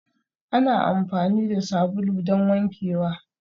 Ana amfani da sabulu don wankewa